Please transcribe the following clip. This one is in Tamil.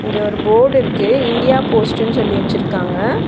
இங்க ஒரு போர்டு இருக்கு இந்தியா போஸ்ட்ன்னு சொல்லி வச்சுருக்காங்க.